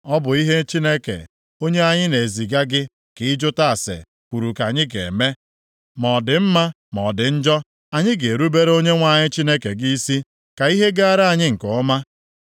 Ọ bụ ihe Chineke, onye anyị na-eziga gị ka ị jụta ase, kwuru ka anyị ga-eme. Ma ọ dị mma, ma ọ dị njọ. Anyị ga-erubere Onyenwe anyị Chineke gị isi, ka ihe gaara anyị nke ọma.”